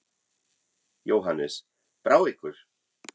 Jóhannes: Brá ykkur?